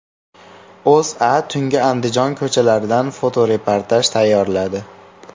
O‘zA tungi Andijon ko‘chalaridan fotoreportaj tayyorladi .